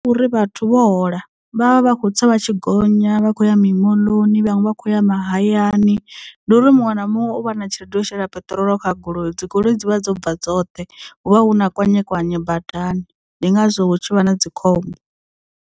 Uri vhathu vho hola vha vha vha kho tsa vha tshi gonya vha khou ya mimoḽoni vhaṅwe vha kho ya mahayani ndi uri muṅwe na muṅwe u vha na tshelede yo shela peṱirolo kha goloi dzi goloi dzi vha dzo bva dzoṱhe hu vha hu na kwanye kwanye badani ndi ngazwo tshivha na dzikhombo.